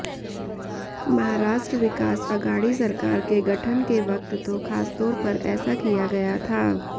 महाराष्ट्र विकास अघाड़ी सरकार के गठन के वक्त तो खासतौर पर ऐसा किया गया था